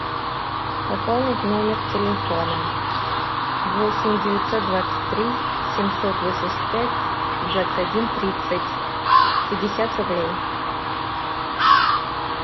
пополнить номер телефона восемь девятьсот двадцать три семьсот восемьдесят пять двадцать один тридцать пятьдесят рублей